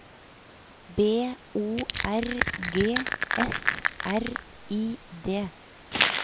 B O R G F R I D